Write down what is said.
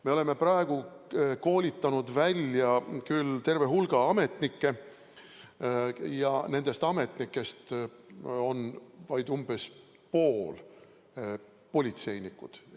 Me oleme praegu koolitanud välja küll terve hulga ametnikke ja nendest on vaid umbes pooled politseinikud.